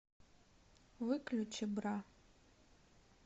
выключи бра